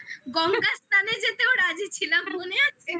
তারপর আমরা গঙ্গা স্নানে যেতেও রাজি ছিলাম মনে আছে?